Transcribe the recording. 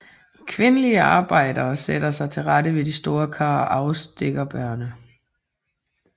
Kvindelige arbejdere sætter sig til rette ved de store kar og afstilker bærrene